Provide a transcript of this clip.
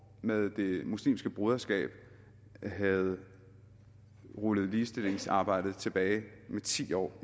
med det muslimske broderskab havde rullet ligestillingsarbejdet tilbage med ti år